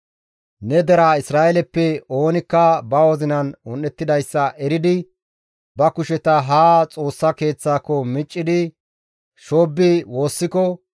Ne dere Isra7eeleppe oonikka ba wozinan un7ettidayssa eridi ba kusheta haa Xoossa Keeththaako miccidi shoobbi woossiko,